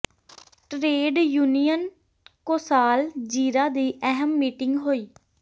trade union ਕੌ ਾਸਲ ਜ਼ੀਰਾ ਦੀ ਅਹਿਮ ਮੀਟਿੰਗ ਹੋਈ